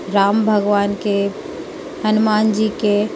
राम भगवान के हनुमान जी के --